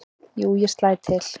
"""Jú, ég slæ til"""